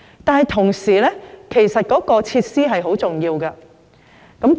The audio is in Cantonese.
不過，與此同時，設施也是很重要的。